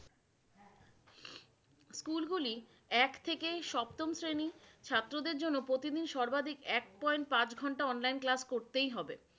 স্কুলগুলি এক থেকে সপ্তম শ্রেণী ছাত্রদের জন্য প্রতিদিন সর্বাধিক এক point পাঁচ ঘন্টা online class করতেই হবে।